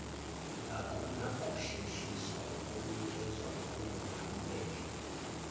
akunakuhlehliswa okunganikezwa okunomphumela